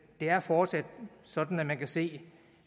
er fortsat sådan at man kan se